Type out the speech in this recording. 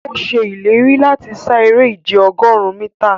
Ọ̀ sẹ̀ ilẹ̀rí lati ṣà èrè ìjẹ̀ ogórùn míta.